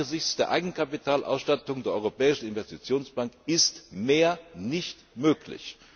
Angesichts der Eigenkapitalausstattung der Europäischen Investitionsbank ist nicht mehr möglich.